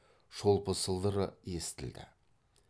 шолпы сылдыры естілді